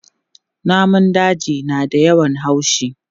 Namun daji na da yawan haushi.